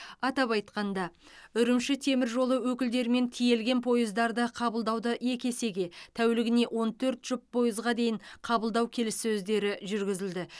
атап айтқанда үрімші темір жолы өкілдерімен тиелген пойыздарды қабылдауды екі есеге тәулігіне он төрт жұп пойызға дейін қабылдау келіссөздері жүргізілді